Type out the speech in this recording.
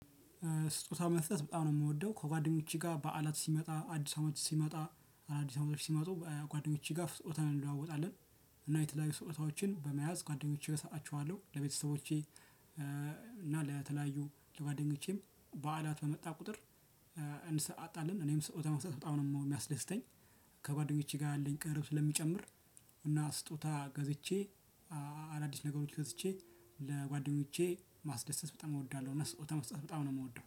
ስጦታ መስጠት በጣም ነው እምወደው ከጓደኞቼ ጋ በዓላት ሲመጣ አዲስ አመት ሲመጣ አዳዲስ አመቶች ሲመጡ ጓደኞቼ ጋ ስጦታ እንለዋወጣለን። እና የተለያዩ ስጦታዎችን በመያዝ ጓደኞቼ እሰጣቸዋለሁ ለቤተሰቦቼ እና ለተለያዩ ለጓደኞቼም በዓላት በመጣ ቁጥር። እንሰጣጣለን እኔም ስውታ መስጠት በጣም ነው የፈእሚያስደስተኝ። ከጓደኞቸ ጋ ያለኝ ቅርርብ ስለሚጨምር። እና ስጦታ ገዝቼ አዳዲስ ነገሮች ገዝቼ ለጓደኞቼ ማስደሰት በጣም እወዳለሁ። እና ስውታ መስጠት በጣም ነው እምወደው